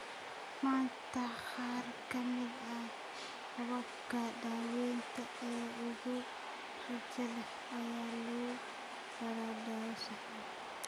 Maanta, qaar ka mid ah hababka daawaynta ee ugu rajada leh ayaa lagu daraa dawo sax ah.